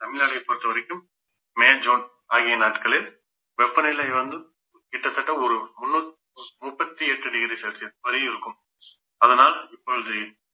தமிழ்நாட்டைப் பொறுத்தவரைக்கும் May June ஆகிய நாட்களில் வெப்பநிலை வந்து, கிட்டத்தட்ட ஒரு முழு~ முப்பத்தி எட்டு degree celsius வரியிருக்கும் அதனால் இப்பொழுது